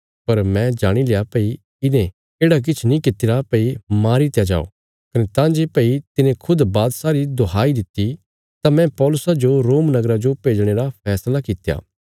पर मैं जाणी लया भई इने येढ़ा किछ नीं कित्तिरा भई मारीत्या जाओ कने तां जे भई तिने खुद बादशाह री दोहाई दित्ति तां मैं पौलुसा जो रोम नगरा जो भेजणे रा फैसला कित्या